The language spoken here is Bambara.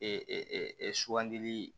Ee sugandili